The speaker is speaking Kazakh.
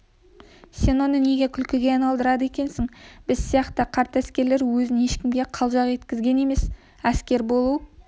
сен оны күлкіге айналдырады екенсің біз сияқты қарт әскерлер өзін ешкімге қылжақ еткізген емес әскер болу